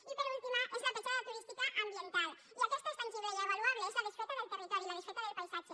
i l’última és la petjada turística ambiental i aquesta és tangible i avaluable és la desfeta del territori la desfeta del paisatge